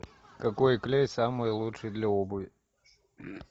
какой клей самый лучший для обуви